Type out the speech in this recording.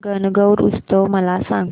गणगौर उत्सव मला सांग